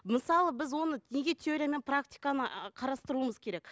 мысалы біз оны теория мен практиканы қарастыруымыз керек